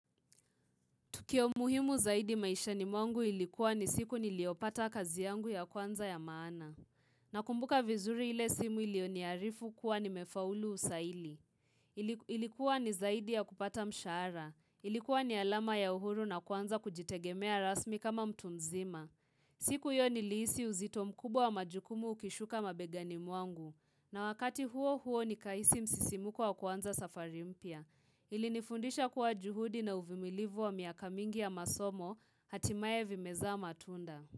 Tukio muhimu zaidi maisha ni mwangu ilikuwa ni siku niliopata kazi yangu ya kwanza ya maana. Na kumbuka vizuri ile simu ilioniarifu kuwa ni mefaulu usaili. Ilikuwa ni zaidi ya kupata mshahara. Ilikuwa ni alama ya uhuru na kwanza kujitegemea rasmi kama mtunzima. Siku hiyo ni iisi uzito mkubwa wa majukumu ukishuka mabegani mwangu. Na wakati huo huo ni kaisi msisimuko wa kuanza safari mpya. Ili nifundisha kuwa juhudi na uvimilivu wa miaka mingi ya masomo hatimae vimeza matunda.